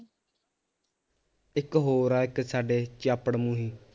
ਇੱਕ ਹੋਰ ਆ ਇੱਕ ਸਾਡੇ ਚਾਪੜ ਮੂਹੀ